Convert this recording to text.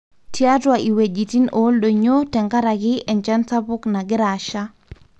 tiatua iwejitin oldonyio tenkaraki enchan sapuk nangira asha